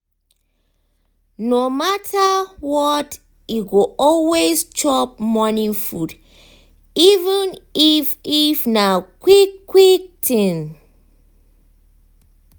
no matter what e go always chop morning food even if if na quick quick thing.